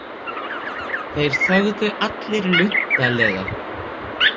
Þeir þögðu allir luntalega.